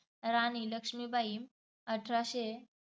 राणी लक्ष्मीबाई अठराशे